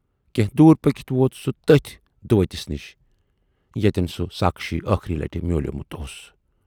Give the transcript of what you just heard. کینہہ دوٗر پٔکِتھ ووت سُہ تٔتھۍ دُؤتِس نِش ییتٮ۪ن سُہ ساکھشی ٲخری لٹہِ میوٗلمُت اوس۔